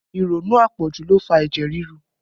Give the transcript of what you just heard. Ìrònú àpọ̀jù ló fa ẹ̀jẹ̀ ríru